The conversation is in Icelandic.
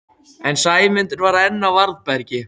En Sæmundur var enn á varðbergi.